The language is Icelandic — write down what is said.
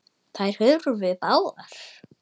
Þær hurfu báðar.